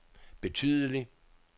betydelig